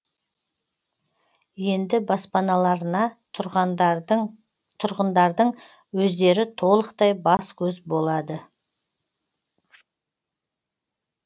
енді баспаналарына тұрғындардың өздері толықтай бас көз болады